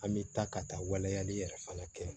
An bɛ taa ka taa waleyali yɛrɛ fana kɛ